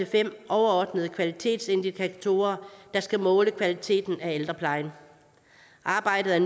fem overordnede kvalitetsindikatorer der skal måle kvaliteten af ældreplejen arbejdet er